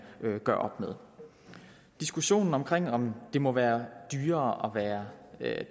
gør op med diskussionen omkring om det må være dyrere at være